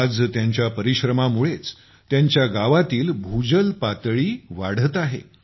आज त्यांच्या परिश्रमामुळेच त्यांच्या गावातील भूजल पातळी वाढली आहे